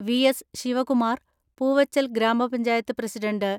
VS. Sivakumar, Poovachal ഗ്രാമപഞ്ചായത്ത് president .